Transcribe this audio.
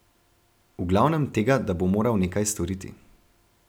V glavnem tega, da bo moral nekaj storiti.